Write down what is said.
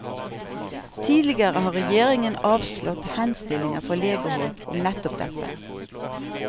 Tidligere har regjeringen avslått henstillinger fra legehold om nettopp dette.